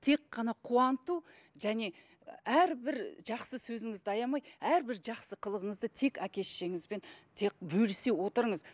тек қана қуанту және әрбір жақсы сөзіңізді аямай әрбір жақсы қылығыңызды тек әке шешеңізбен тек бөлісе отырыңыз